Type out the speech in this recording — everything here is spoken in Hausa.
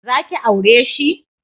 Za ki aure shi?